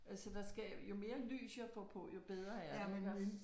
Så der skal jo mere lys jeg får på jo bedre er det